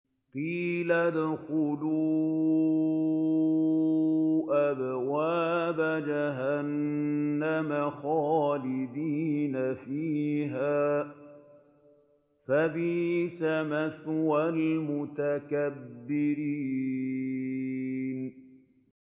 قِيلَ ادْخُلُوا أَبْوَابَ جَهَنَّمَ خَالِدِينَ فِيهَا ۖ فَبِئْسَ مَثْوَى الْمُتَكَبِّرِينَ